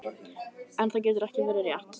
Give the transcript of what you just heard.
En það getur ekki verið rétt.